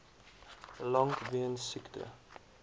lank weens siekte